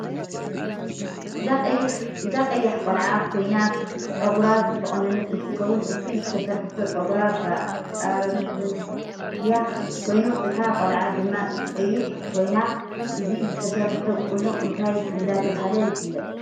እዛ ቀያሕ ቆላዓ ኮይና ፅግራ ዝተቆነነት እንትከውን እቲ ዝተሰርሖቶ ፅግራ ብኣርትያ ኮይኑ እታ ቆለዓ ድማ ቀያሕ ኮይና እዚ ዝተሰርሖቶ ቁኖ እንታይ እዳተበሃለ ይፍለጥ።